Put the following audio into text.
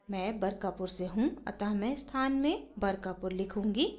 मैं बरकापुर से हूँ अतः मैं स्थान में बरकापुर लिखूँगी